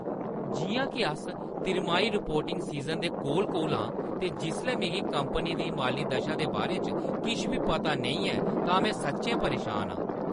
जि'यां के अस तिमाही रिपोर्टिंग सीज़न दे कोल-कोल आं ते जिसलै मिगी कंपनी दी माली दशा दे बारे च किश बी पता नेईं ऐ तां में सच्चैं परेशान आं।